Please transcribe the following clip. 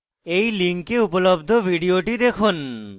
এই লিঙ্কে উপলব্ধ video দেখুন